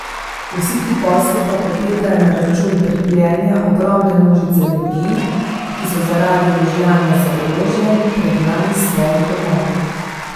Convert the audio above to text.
Vsi ti posli pa potekajo na račun trpljenja ogromne množice ljudi, ki so zaradi rožljanja z orožja pregnani s svojih domov.